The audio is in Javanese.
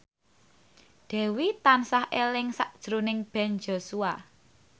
Dewi tansah eling sakjroning Ben Joshua